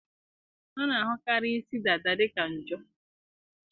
a na-ahụkarị isi dada dị ka njo